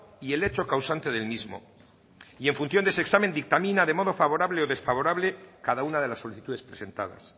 y el hecho causante del mismo y en función de ese examen dictamina de modo favorable o desfavorable cada una de las solicitudes presentadas